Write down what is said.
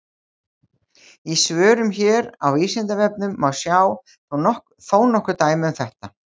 Í svörum hér á Vísindavefnum má sjá þó nokkur dæmi um þetta.